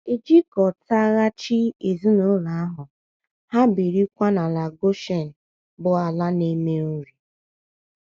E jikọtaghachi ezinụlọ ahụ, ha ebirikwa n’ala Goshen bụ́ ala na - eme nri.